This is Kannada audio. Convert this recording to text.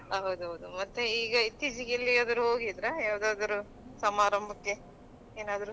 ಹೌದೌದು ಮತ್ತೆ ಈಗ ಇತ್ತೀಚಿಗೆ ಎಲ್ಲಿಗಾದ್ರೂ ಹೋಗಿದ್ರಾ ಯಾವ್ದಾದ್ರು ಸಮಾರಂಭಕ್ಕೆ ಏನಾದ್ರು.